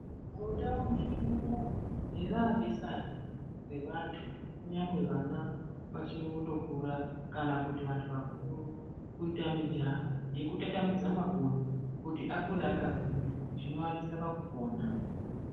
Mundau medu muno harabesanwa revantu kunge vana vachiri kungokura kana vantu vakuru kuita mujaho wekutatamudza makodo kuti akure akagwinya zvinovadetsera pakupona